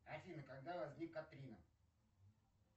афина когда возник катрина